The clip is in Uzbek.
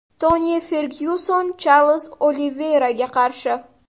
Toni Fergyuson Charlz Oliveyraga qarshi.